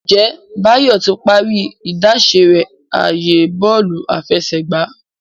Njé Bayo tí parí idáṣẹ rẹ ààyè Bọ́ọ̀lù àfẹsẹ̀gbá